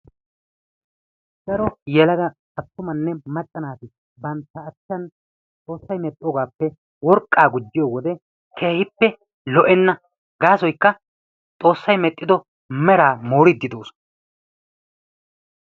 Daro yelagga attumanne macca naati bantta achan xoosay medhoogaappe worqaa gijjiyo wode keehippe lo'enna gaasoykka xoosay medhido meraa mooriidi doosona.